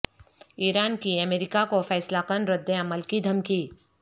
ایران کی امریکہ کو فیصلہ کن ردعمل کی دھمکی